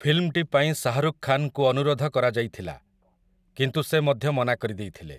ଫିଲ୍ମଟି ପାଇଁ ଶାହ୍‌ରୁଖ୍ ଖାନ୍‌ଙ୍କୁ ଅନୁରୋଧ କରାଯାଇଥିଲା, କିନ୍ତୁ ସେ ମଧ୍ୟ ମନା କରିଦେଇଥିଲେ ।